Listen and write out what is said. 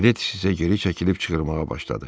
Gledis isə geri çəkilib çığırmağa başladı.